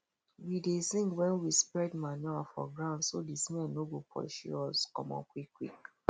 we dey sing wen we spread manure for ground so the smell no go pursue us comot qik qik